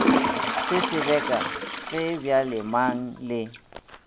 se sebeka ge bjalemang le